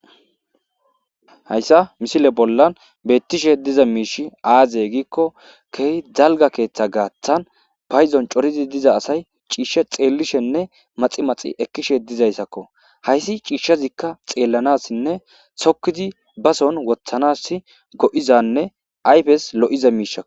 hayssa misile bollan beettishe diza miish aaze giikko kehi zalga keeththa gaaththan payzon corizi diza asay ciishshe xeellishenne maxi maxi ekkishe dizayssakko hayssi ciishshazikka xeellanassinne sokkizi bason wothanas go7izanne ayfes lo7iza miishako